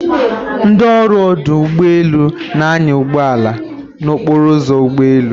Ndị ọrụ ọdụ ụgbọ elu na-anya ụgbọ ala n'okporo ụzọ ụgbọ elu.